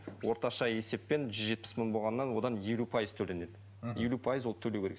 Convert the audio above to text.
орташа есеппен жүз жетпіс мың болғаннан одан елу пайыз төленеді мхм елу пайыз ол төлеу керек